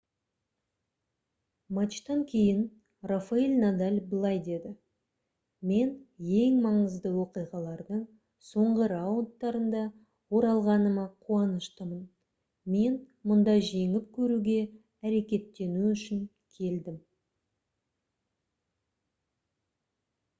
матчтан кейін рафаэль надаль былай деді: «мен ең маңызды оқиғалардың соңғы раундтарында оралғаныма қуаныштымын. мен мұнда жеңіп көруге әрекеттену үшін келдім»